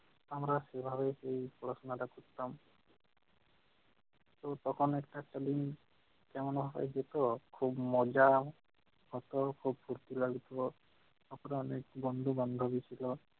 আমরা সেইভাবেই তো পড়াশোনাটা করতাম। তো তখন একটা খালি কেমন হয়ে যেত, খুব মজা হত, খুব খুশি লাগতো। তখন অনেক বন্ধু-বান্ধবী ছিল